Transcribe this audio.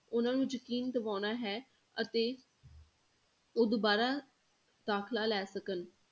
ਉਹਨਾਂ ਨੂੰ ਯਕੀਨ ਦਿਵਾਉਣਾ ਹੈ ਅਤੇ ਉਹ ਦੁਬਾਰਾ ਦਾਖਲਾ ਲੈ ਸਕਣ।